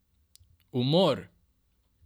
Umor!